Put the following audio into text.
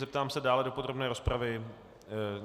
Zeptám se, dále do podrobné rozpravy?